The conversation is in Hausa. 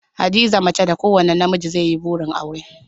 Hadiza mace da kowane namiji zai yi burin aura